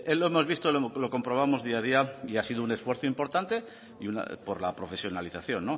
lo hemos visto lo comprobamos día a día y ha sido un esfuerzo importante por la profesionalización